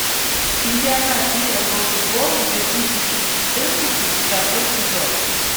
чемпионат мира по футболу две тысячи четырнадцать второй эпизод